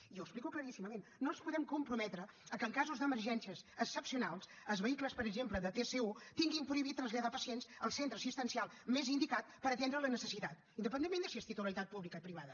i ho explico claríssimament no ens podem comprometre que en casos d’emergències excepcionals els vehicles per exemple de tsu tinguin prohibit traslladar pacients al centre assistencial més indicat per atendre la necessitat independentment de si és titularitat pública o privada